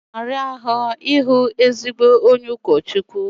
Ọ na-ara ahụ ịhụ ezigbo onye ụkọchukwu